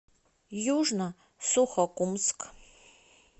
южно сухокумск